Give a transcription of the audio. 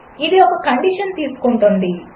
అదిఒకకండిషన్తీసుకుంటుంది